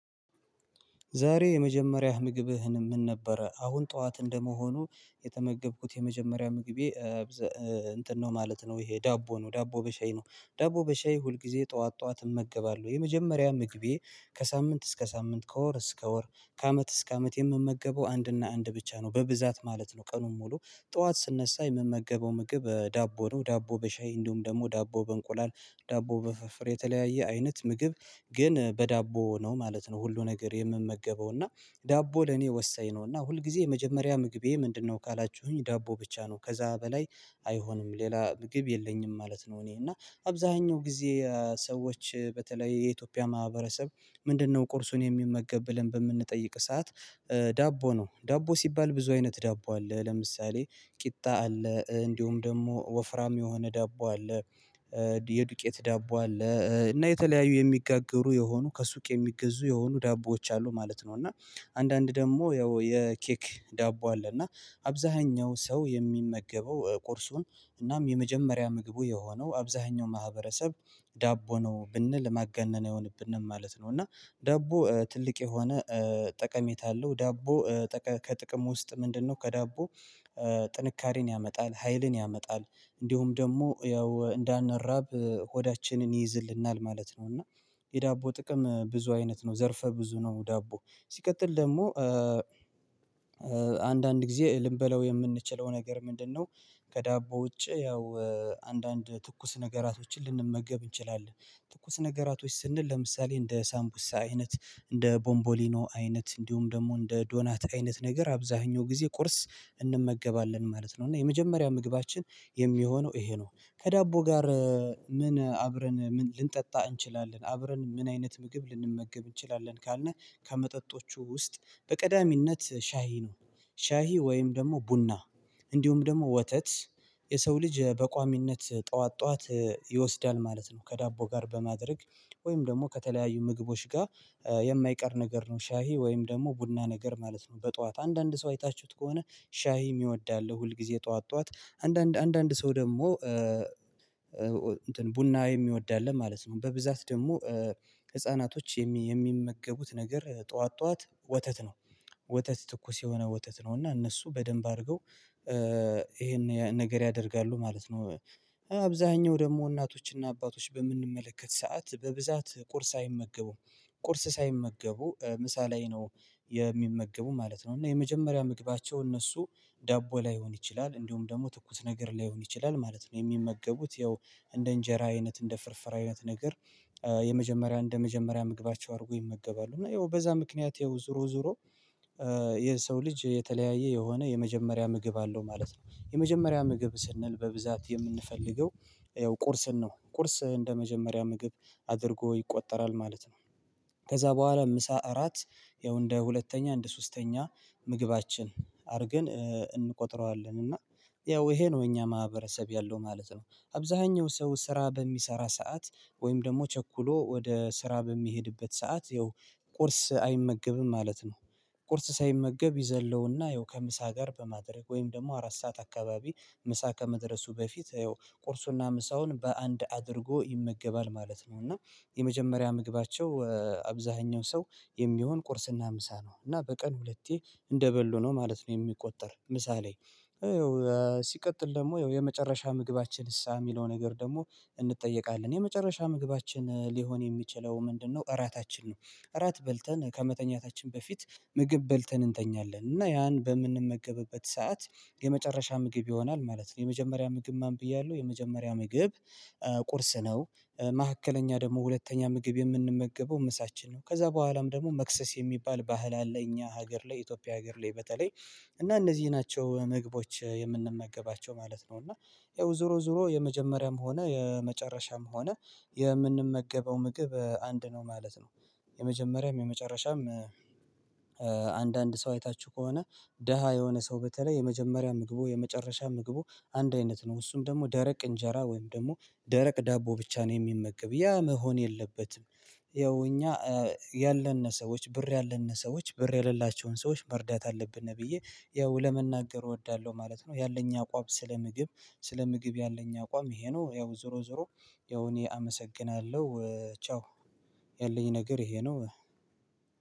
ዛሬ የመጀመሪያህ ምግብህ ምንድን ነበረ? አሁን ጠዋት እንደመሆኑ የተመገብኩት የመጀመሪያ ምግቤ እንትን ነው ማለት ነው ይሄ ዳቦ ነው ዳቦ በሻይ ነው። ዳቦ በሻይ ሁል ጊዜ ጠዋት ጠዋት እመገባለሁ። የመጀመሪያ ምግቤ ከሳምንት እስከ ሳምንት ከወር እስከ ወር ከአመት እስከ አመት የምመገበው አንድና አንድ ብቻ ነው በብዛት ማለት ነው ቀኑን ሙሉ ጠዋት ስነሳ የምመገበው ምግብ ዳቦ ነው። ዳቦ በሻይ እንዲሁም ደግሞ ዳቦ በእንቁላል፣ ዳቦ በፍርፍር የተለያየ አይነት ምግብ ግን በዳቦ ነው ማለት ነው ሁሉ ነገር የምመገበው እና ዳቦ ለኔ ወሳኝ ነውና ሁልጊዜ የመጀመሪያ ምግቤ ምንድነው ካላችሁኝ ዳቦ ብቻ ነው። ከዛ በላይ አይሆንም ሌላ ምግብ የለኝም ማለት ነው እኔ እና አብዛኛው ጊዜ ሰዎች በተለይ የኢትዮጵያ ማህበረሰብ ምንድነው ቁርሱን የሚመገብ ብለን በምንጠይቅ ሰዓት ዳቦ ነው ዳቦ ሲባል ብዙ አይነት ዳቦ አለ ለምሳሌ ቂጣ አለ፣ እንዲሁም ደግሞ ወፍራም የሆነ ዳቦ አለ የዱቄት ዳቦ አለ እና የተለያዩ የሚጋገሩ የሆኑ ከሱቅ የሚገዙ የሆኑ ዳቦዎች አሉ ማለት ነው እና አንዳንድ ደግሞ ያው የኬክ ዳቦ አለ እና አብዛኛው ሰው የሚመገበው ቁርሱን እናም የመጀመሪያ ምግቡ የሆነው አብዛኛው ማህበረሰብ ዳቦ ነው ብንል ማጋነን አይሆንብንም ማለት ነው እና ዳቦ ትልቅ የሆነ ጠቀሜታ አለው ዳቦ ከጥቅሙ ውስጥ ምንድነው ከዳቦ ጥንካሬን ያመጣል፣ ሀይልን ያመጣል እንዲሁም ደግሞ ያው እንዳንራብ ሆዳችንን ይይዝልናል ማለት ነው። እና የዳቦ ጥቅም ብዙ አይነት ነው። ዘርፈ ብዙ ነው ዳቦ። ሲቀጥል ደግሞ አንዳንድ ጊዜ ልንበላው የምንችለው ነገር ምንድነው ከዳቦ ውጪ ያው አንዳንድ ትኩስ ነገራቶችን ልንመገብ እንችላለን ትኩስ ነገራቶች ስንል ለምሳሌ እንደ ሳምቡሳ አይነት፣ እንደ ቦምቦሊኖ አይነት እንዲሁም ደግሞ እንደ ዶናት አይነት ነገር አብዛኛው ጊዜ ቁርስ እንመገባለን ማለት ነው። እና የመጀመሪያ ምግባችን የሚሆነው ይሄ ነው። ከዳቦ ጋር ምን አብረን ምን ልንጠጣ እንችላለን፣ አብረን ምን አይነት ምግብ ልንመገብ እንችላለን ካልን ከመጠጦቹ ውስጥ በቀዳሚነት ሻይ ነው። ሻይ ወይም ደግሞ ቡና እንዲሁም ደግሞ ወተት የሰው ልጅ በቋሚነት ጠዋት ጠዋት ይወስዳል ማለት ነው ከዳቦ ጋር በማድረግ ወይም ደግሞ ከተለያዩ ምግቦች ጋር የማይቀር ነገር ነው ሻይ ወይም ደግሞ ቡና ነገር ማለት ነው በጧት። አንዳንድ ሰው አይታችሁት ከሆነ ሻይ የሚወድ አለ ሁል ጊዜ ጠዋት ጠዋት። አንዳንድ አንዳንድ ሰው ደግሞ ቡና የሚወድ ማለት ነው። በብዛት ደግሞ ህፃናቶች የሚመገቡት ነገር ጠዋት ጠዋት ወተት ነው። ወተት ትኩስ የሆነ ወተት ነው እና እነሱ በደንብ አድርገው ይሄን ነገር ያደርጋሉ ማለት ነው። አብዛኛው ደግሞ እናቶችና አባቶች በምንመለከት ሰዓት በብዛት ቁርስ አይመገቡም። ቁርስ ሳይመገቡ ምሳ ላይ ነው የሚመገቡ ማለት ነው። እና የመጀመሪያ ምግባቸው እነሱ ዳቦ ላይሆን ይችላል እንዲሁም ደግሞ ትኩስ ነገር ላይሆን ይችላል ማለት ነው። የሚመገቡት ያው እንደ እንጀራ አይነት፣ እንደ ፍርፍር አይነት ነገር የመጀመሪያ እንደ መጀመሪያ ምግባቸው አርገው ይመገባሉ እና ያው በዛ ምክንያት ያው ዙሮ ዙሮ የሰው ልጅ የተለያየ የሆነ የመጀመሪያ ምግብ አለው ማለት ነው። የመጀመሪያ ምግብ ስንል በብዛት የምንፈልገው ያው ቁርስን ነው። ቁርስ እንደመጀመሪያ ምግብ አድርጎ ይቆጠራል ማለት ነው ከዛ በኋላ ምሳ፣ እራት ያው እንደ ሁለተኛ፣ እንደ ሶስተኛ ምግባችን አድርገን እንቆጥረዋለን እና ያው ይሄ ነው የእኛ ማህበረሰብ ያለው ማለት ነው። አብዛኛው ሰው ስራ በሚሰራ ሰዓት ወይም ደግሞ ቸኩሎ ወደ ስራ በሚሄድበት ሰዓት ያው ቁርስ አይመገብም ማለት ነው ቁርስ ሳይመገብ ይዘለውና ያው ከምሳ ጋር በማድረግ ወይም ደግሞ አራት ሰዓት አካባቢ ምሳ ከመድረሱ በፊት ይኸው ቁርሱና ምሳውን በአንድ አድርጎ ይመገባል ማለት ነው እና የመጀመሪያ ምግባቸው አብዛኛው ሰው የሚሆነው ቁርስና ምሳ ነው። እና በቀን ሁለቴ እንደበሉ ነው ማለት ነው የሚቆጠረው ምሳ ላይ ሲቀጥል ደግሞ የመጨረሻ ምግባችንስ የሚለው ነገር ደግሞ እንጠየቃለን። የመጨረሻ ምግባችን ሊሆን የሚችለው ምንድነው እራታችን ነው። እራት በልተን ከመተኛታችን በፊት ምግብ በልተን እንተኛለን እና ያን በምንመገብበት ሰዓት የመጨረሻ ምግብ ይሆናል ማለት ነው። የመጀመሪያ ምግብ ማን ብያለሁ የመጀመሪያ ምግብ ቁርስ ነው መካከለኛ ደግሞ ሁለተኛ ምግብ የምንመገበው ምሳችን ነው። ከዛ በኋላም ደግሞ መክሰስ የሚባል ባህል አለ እኛ ሀገር ላይ ኢትዮጵያ ሀገር ላይ በተለይ እና እነዚህ ናቸው ምግቦች የምንመገባቸው ማለት ነው እና ያው ዙሮ ዙሮ የመጀመሪያም ሆነ የመጨረሻም ሆነ የምንመገበው ምግብ አንድ ነው ማለት ነው የመጀመሪያም የመጨረሻም አንዳንድ ሰው አይታችሁ ከሆነ ደሃ የሆነ ሰው በተለይ የመጀመሪያ ምግቡ የመጨረሻ ምግቡ አንድ አይነት ነው እሱም ደግሞ ደረቅ እንጀራ ወይም ደግሞ ደረቅ ዳቦ ብቻ ነው የሚመገበው ያ መሆን የለበትም ያው እኛ ያለን ሰዎች ብር ያለን ሰዎች ብር የሌላቸውን ሰዎች መርዳት አለብን ብዬ ያው ለመናገር እወዳለሁ ማለት ነው። ያለኝ አቋም ስለ ምግብ ስለ ምግብ ያለኝ አቋም ይሄ ነው። ያው ዙሮ ዙሮ ያው እኔ አመሰግናለሁ ቻው! ያለኝ ነገር ይሄ ነው።